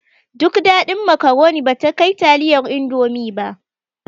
Duk daɗin makaroni bata kai taliyar indomi ba